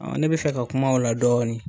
Ɔn ne be fɛ ka kuma o la dɔɔni.